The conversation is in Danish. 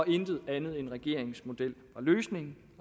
intet andet end regeringens model og løsning